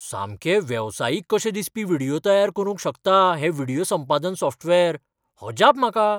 सामके वेवसायीक कशे दिसपी व्हिडियो तयार करूंक शकता हें व्हिडियो संपादन सॉफ्टवेअर. अजाप म्हाका!